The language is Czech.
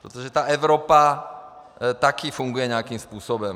Protože ta Evropa taky funguje nějakým způsobem.